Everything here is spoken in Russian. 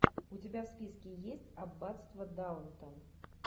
у тебя в списке есть аббатство даунтон